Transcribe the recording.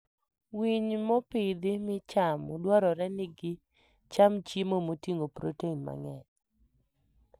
Winy mopidhi michamo dwarore ni gicham chiemo moting'o protein mang'eny.